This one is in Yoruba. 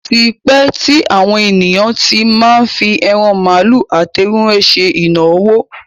Ó ti pẹ́ tí àwọn ènìyàn tí má ń fi ẹran màálù àti ewúrẹ́ ṣe ìnáwó.